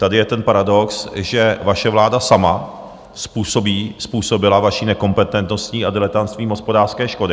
Tady je ten paradox, že vaše vláda sama způsobila svou nekompetentností a diletantstvím hospodářské škody.